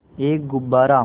एक गुब्बारा